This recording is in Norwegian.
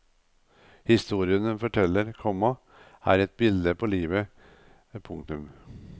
Historien hun forteller, komma er et bilde på livet. punktum